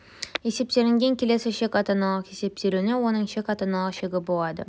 есептелінген келесі шек ата-аналық есептелуі оның шек ата-аналық шегі болады